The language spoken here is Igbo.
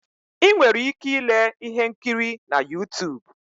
Ị nwere ike ile ihe nkiri na Yutub